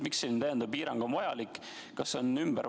Miks selline lisapiirang vajalik on?